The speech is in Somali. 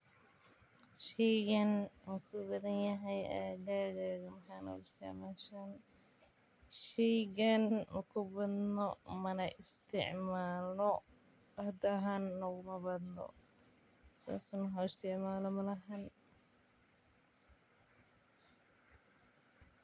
Sheygan mu kubadan yahay agaga sheygan makubadno mana isticmalno wax isticmalo malaha sas waye sheygan.